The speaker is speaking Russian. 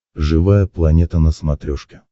живая планета на смотрешке